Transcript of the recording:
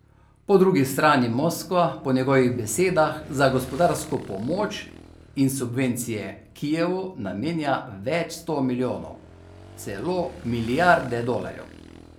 Po drugi strani Moskva po njegovih besedah za gospodarsko pomoč in subvencije Kijevu namenja več sto milijonov, celo milijarde dolarjev.